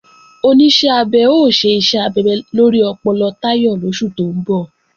Oníṣẹ́ abẹ ó ṣe iṣẹ́ abẹ lórí ọpọlọ Táyọ̀ lóṣù tó ń bọ̀